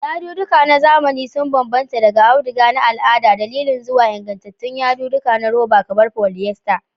Yadudduka na zamani sun bambanta daga auduga na al'ada da lilin zuwa nagartattun yadudduka na roba kamar polyester.